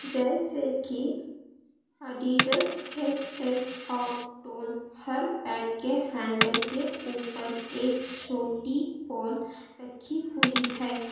जैसे कि Adidas S S और टोन हर बैट के हैंडल के ऊपर एक छोटी बॉल रखी हुई है।